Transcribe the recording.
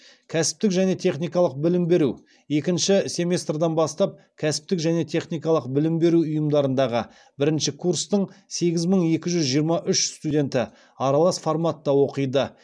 кәсіптік және техникалық білім беру екінші семестрден бастап кәсіптік және техникалық білім беру ұйымдарындағы бірінші курстың сегіз мың екі жүз жиырма үш студенті аралас форматта оқиды